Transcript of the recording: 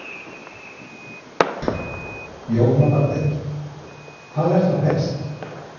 Jóhanna Margrét: Hvað er þá helst?